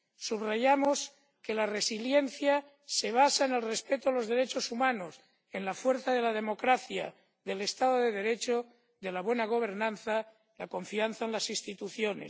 Subrayamos que la resiliencia se basa en el respeto de los derechos humanos, en la fuerza de la democracia, del Estado de Derecho, de la buena gobernanza y en la confianza en las instituciones.